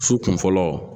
Su kun fɔlɔ